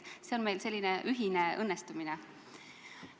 See on meil selline ühine õnnestumine.